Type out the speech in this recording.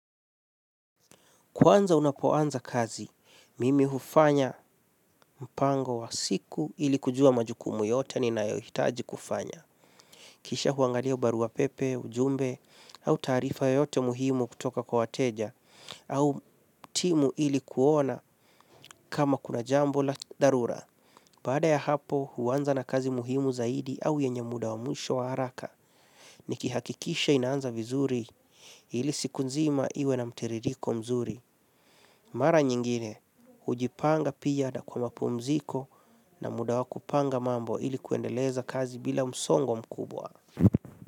Kwanza unapoanza kazi, mimi hufanya mpango wa siku ili kujua majukumu yote nina yoyitaji kufanya. Kisha huangalia ubarua pepe, ujumbe au taarifa yeyote muhimu kutoka kwa wateja au timu ili kuona kama kuna jambo la dharura. Baada ya hapo huanza na kazi muhimu zaidi au yenye muda wa mwisho wa haraka. Nikihakikisha inaanza vizuri ili siku nzima iwe na mtiririko mzuri. Mara nyingine, hujipanga pia na kwa mapumziko na muda wa kupanga mambo ili kuendeleza kazi bila msongo mkubwa.